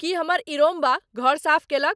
कि हमर इरोम्बा घर साफ केलक ?